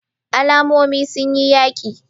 Al'ummomin sun yi yaki